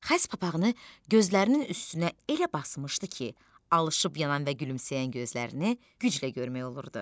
Xəz papağını gözlərinin üstünə elə basmışdı ki, alışıb yanan və gülümsəyən gözlərini güclə görmək olurdu.